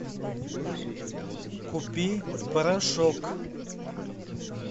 купи порошок